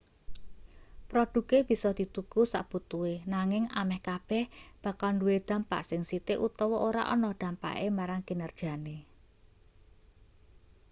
produke bisa dituku sakbutuhe nanging ameh kabeh bakal duwe dampak sing sithik utawa ora ana dampake marang kinerjane